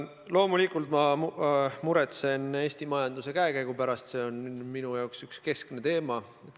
Loomulikult ma muretsen Eesti majanduse käekäigu pärast, see on minu jaoks üks keskne teema.